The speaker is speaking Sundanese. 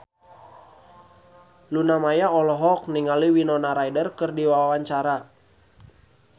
Luna Maya olohok ningali Winona Ryder keur diwawancara